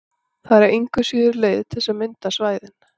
Það er engu að síður til leið til þess að mynda svæðin.